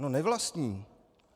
No nevlastní.